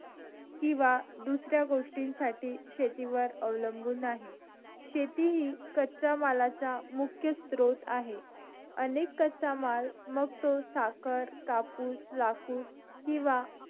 किंवा दुसऱ्या गोष्टी साठी शेतीवर अवलंबून आहे शेती हि कच्चा मालाचा मुख्य स्रोत आहे अनेक कच्चा माल मग तो साखर कापूस लाकूड किंवा